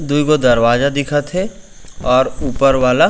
दुई गो दरवाजा दिखत हे अउ ऊपर वाला --